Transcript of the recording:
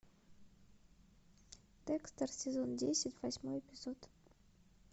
декстер сезон десять восьмой эпизод